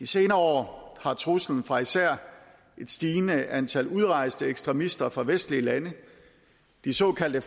senere år har truslen fra især et stigende antal udrejste ekstremister fra vestlige lande de såkaldte